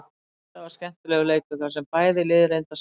Þetta var skemmtilegur leikur þar sem bæði lið reyndu að sækja.